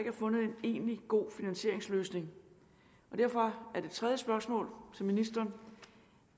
er fundet en egentlig god finansieringsløsning og derfor er det tredje spørgsmål til ministeren